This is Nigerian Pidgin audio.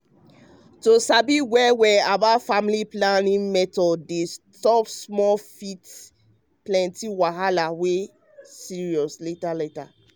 um to sabi well well about family planning um method dem stop small um fit prevent plenty wahala wey serious later later.